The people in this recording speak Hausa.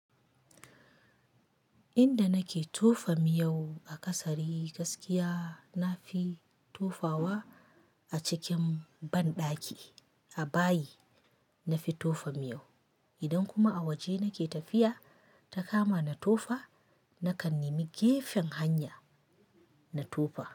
Inda nake tofa miyau a ƙasari gaskiya na fi tofawa a cikin banɗaki. A bayi nafi tofa miyau. Idan kuma a waje nake tafiya ta kama na tofa nakan nemi gefen hanya na tofa.